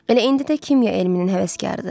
Elə indi də kimya elminin həvəskarıdır.